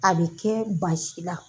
A bɛ kɛ basi la.